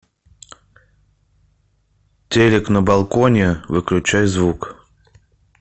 телик на балконе выключай звук